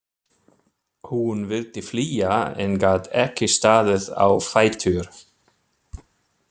Hún vildi flýja en gat ekki staðið á fætur.